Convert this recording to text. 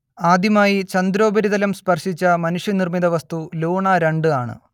ആദ്യമായി ചന്ദ്രോപരിതലം സ്പർശിച്ച മനുഷ്യനിർമിത വസ്തു ലൂണ രണ്ട് ആണ്